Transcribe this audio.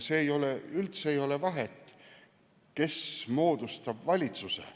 Ei ole üldse vahet, kes moodustab valitsuse.